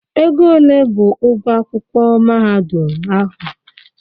Ego ole bụ ụgwọ akwụkwọ mahadum ahụ?